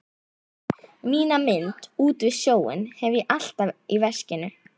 Mína mynd út við sjóinn hef ég alltaf í veskinu.